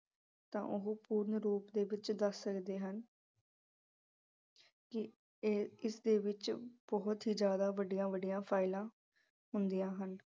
ਤਾਂ ਉਹ ਪੂਰਨ ਰੂਪ ਦੇ ਵਿੱਚ ਦੱਸ ਸਕਦੇ ਹਨ। ਕੀ ਇਹ ਅਹ ਇਸ ਦੇ ਵਿੱਚ ਬਹੁਤ ਹੀ ਜ਼ਿਆਦਾ ਵੱਡਿਆਂ-ਵੱਡਿਆਂ files ਹੁੰਦੀਆਂ ਹਨ।